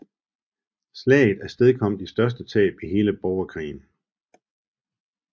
Slaget afstedkom de største tab i hele Borgerkrigen